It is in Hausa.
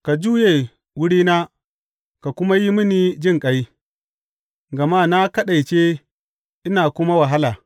Ka juye wurina ka kuma yi mini jinƙai, gama na kaɗaice ina kuma wahala.